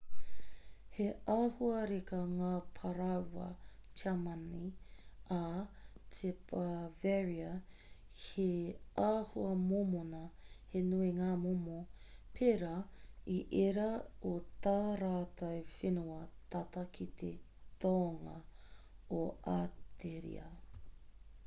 he āhua reka ngā parāoa tiamani ā ki bavaria he āhua mōmona he nui ngā momo pērā i ērā o tā rātou whenua tata ki te tonga o ateria